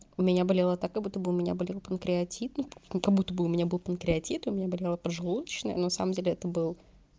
у меня болела так как будто бы у меня были панкреатит ну как будто бы у меня был панкреатит у меня болела поджелудочная но самом деле это был